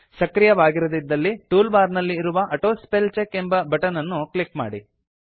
ಸಕ್ರಿಯವಾಗಿರದಿದ್ದಲ್ಲಿ tool bar ನಲ್ಲಿ ಇರುವ auto spell check ಎಂಬ ಬಟನ್ ಅನ್ನು ಕ್ಲಿಕ್ ಮಾಡಿ